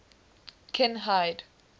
kinhide